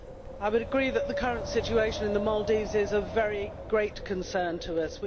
I would agree that the current situation in the Maldives is of very great concern to us.